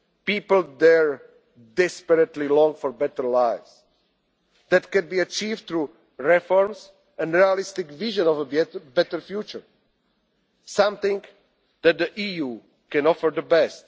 parts of Europe. People there desperately long for better lives that can be achieved through reforms and a realistic vision of a better future, something that the